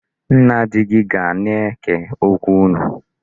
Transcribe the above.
Nna di gị ana-eke okwu unu?